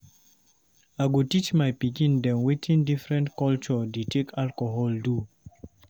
I go teach my pikin dem wetin different culture dey take alcohol do.